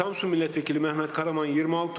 Samsun millət vəkili Mehmet Karaman, 26 səs.